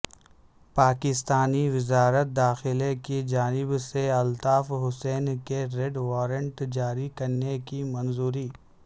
پاکستانی وزارت داخلہ کی جانب سے الطاف حسین کے ریڈ وارنٹ جاری کرنے کی منظوری